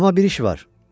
Amma bir iş var.